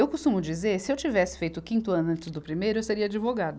Eu costumo dizer, se eu tivesse feito o quinto ano antes do primeiro, eu seria advogada.